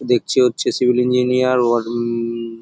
দেখছি হচ্ছে civil engineer word অ-ম-ম --